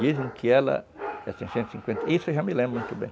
Dizem que ela, essa enchente, isso eu já me lembro muito bem.